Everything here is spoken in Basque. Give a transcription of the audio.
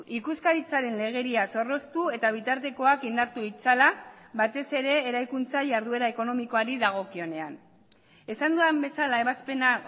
ikuskaritzaren legedia zorroztu eta bitartekoak indartu ditzala batez ere eraikuntza jarduera ekonomikoari dagokionean esan dudan bezala ebazpena